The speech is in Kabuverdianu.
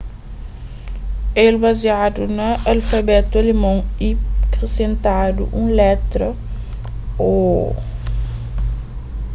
el baziadu na alfabetu alemon y krisentadu un letra õ/õ.